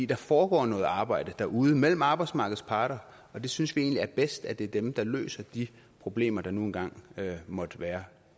der foregår noget arbejde derude mellem arbejdsmarkedets parter og vi synes egentlig det er bedst at det er dem der løser de problemer der nu engang måtte være